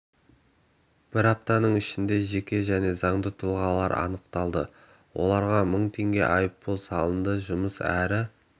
бір апта ішінде жеке және заңды тұлға анықталды оларға мың теңге айыппұл салынды жұмыс әрі